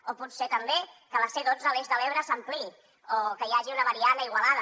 o potser també que la c dotze l’eix de l’ebre s’ampliï o que hi hagi una variant a igualada